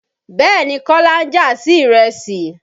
Bẹ́ẹ̀ni, Kọ́lá ń jà sí ìrẹsì.